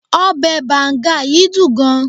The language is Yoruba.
obe banga yìí dun gan